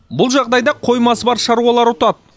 бұл жағдайда қоймасы бар шаруалар ұтады